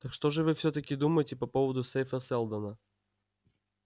так что же вы всё-таки думаете по поводу сейфа сэлдона